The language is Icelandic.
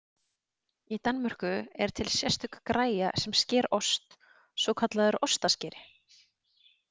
Í Danmörku er til sérstök græja sem sker ost, svokallaður ostaskeri.